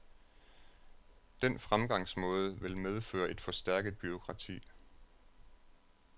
Den fremgangsmåde vil medføre et forstærket bureaukrati.